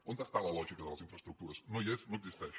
on és la lògica de les infraestructures no hi és no existeix